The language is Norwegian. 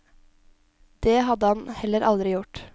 Det hadde han heller aldri gjort.